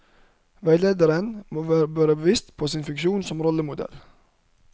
Veilederen må være bevisst sin funksjon som rollemodell.